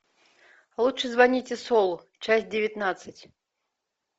лучше звоните солу часть девятнадцать